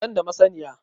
Ban da masaniya